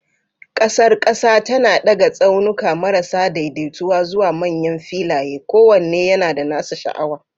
Ƙasar ƙasa tana daga tsaunuka marasa daidaituwa zuwa manyan filaye, kowanne yana da nasa sha'awa.